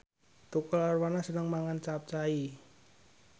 Tukul Arwana seneng mangan capcay